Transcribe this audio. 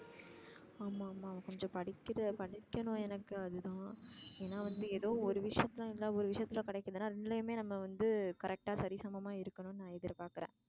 ஆமா ஆமா கொஞ்சம் படிக்கிற படிக்கணும் எனக்கு அது தான் ஏன்னா வந்து ஏதோ ஒரு விஷயத்துல இல்ல ஒரு விஷயத்துல கிடைக்குதுனா ரெண்டுலையுமே நம்ம வந்து correct டா சரிசமமா இருக்கனும்னு நா எதிர் பாக்குறேன்.